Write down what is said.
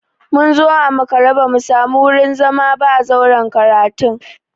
Mun zo a makare ba mu samu wurin zama a zauren karatun ba.